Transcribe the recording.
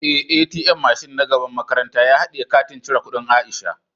Eh, "ATM " mashin na gaban makaranta ya hadiye katin cire kudin Aisha.